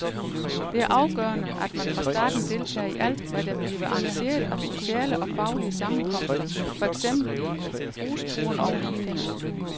Det er afgørende, at man fra starten deltager i alt, hvad der bliver arrangeret af sociale og faglige sammenkomster, for eksempel i rusturen og lignende.